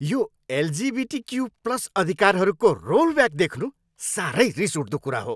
यो LGBTQ plus अधिकारहरूको rollback देख्नु साह्रै रिसउठ्दो कुरा हो।